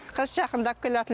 қыс жақындап келе ятып